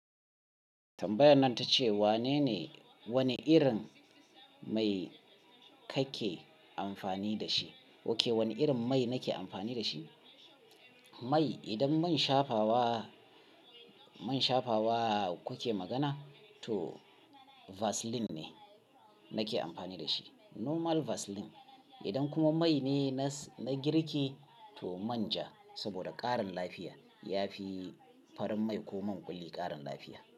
Tambayan nan ta ce wane ne-- wane irin mai kake amfani da shi? Oke, wani irin mai nake amfani da shi? Mai idan mun shafawa, mun shafawa kuke magana to Vaseline ne nake amfani da shi. Normal Vaseline. Idan kuma mai ne na girki to manja saboda ƙarin lafiya. Yafi farin mai ko man ƙulli ƙarin lafiya.